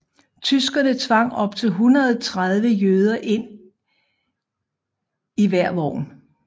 Tyskerne tvang op til 130 jøder ind i hver vogn